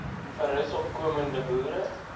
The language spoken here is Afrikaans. versus opkomende boere